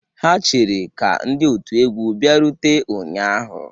Ha chere ka ndị otu egwu bịarute ụnyahụ